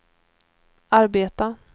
arbeta